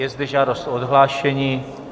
Je zde žádost o odhlášení.